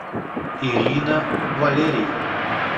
ирина валерьевна